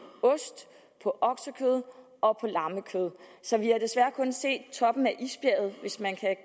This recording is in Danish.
ost på oksekød og på lammekød så vi har desværre kun set toppen af isbjerget hvis man kan